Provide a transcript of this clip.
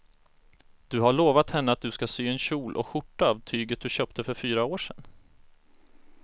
Du har lovat henne att du ska sy en kjol och skjorta av tyget du köpte för fyra år sedan.